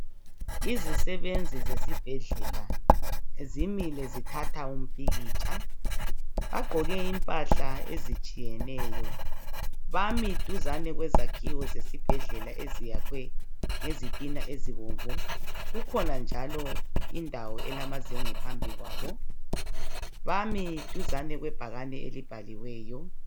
Izisebenzi zesibhedlela zimile zithatha umpikitsha. Bagqoke impahla ezitshiyeneyo. Bami duzane kwezakhiwo zesibhedlela eziyakhwe ngezithna ezibomvu. Kukhona njalo indawo elamazenge phambi kwabo . Bami duzane kwebhakani elibhaliweyo.